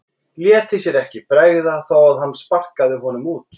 Léti sér ekki bregða þó að hann sparkaði honum út.